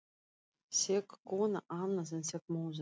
Sek kona annað en sek móðir.